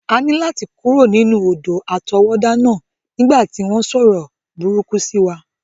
A ní láti kúrò nínú odò àtọwọ́dá náà nígbà tí wọ́n sọ̀rọ̀ burúkú sí wa.